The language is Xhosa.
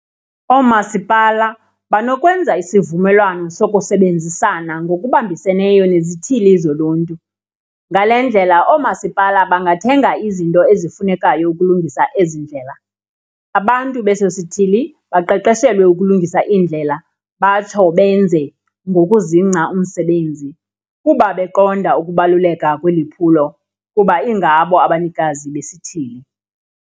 Oomasipala banokwenza isivumelwano sokusebenzisana ngokubambiseneyo nezithili zoluntu, ngale ndlela oomasipala bangathenga izinto ezifunekayo ukulungisa ezi ndlela. Abantu beso sithili baqeqeshelwe ukulungisa iindlela batsho benze ngokuzingca umsebenz, kuba beqonda ukubaluleka kweli phulo kuba ingabo abanikazi besithili.